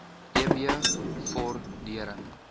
eb vor dering